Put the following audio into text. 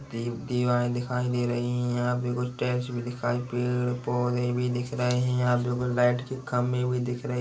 दिवारें दिखाई दे रही है यहाँ पे कुछ टाइल्स भी दिखाई पेड़ पौधे भी दिख रहे है यहाँ पे लाइट के खम्बे भी दिख रहे--